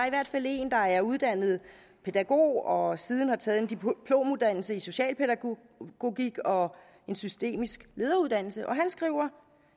i hvert fald en der er uddannet pædagog og siden har taget en diplomuddannelse i socialpædagogik og en systemisk lederuddannelse skriver